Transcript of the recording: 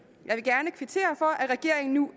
jeg vil gerne kvittere for at regeringen nu